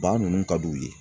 Ba ninnu ka d'u ye